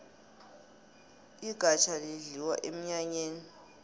igafjha lidliwa emnyanyeni